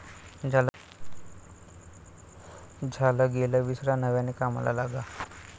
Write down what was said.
झालं गेलं विसरा नव्याने कामाला लागा'